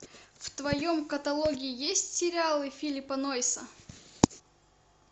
в твоем каталоге есть сериалы филлипа нойса